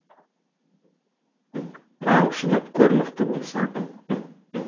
ал шыдап көр мықты болсаң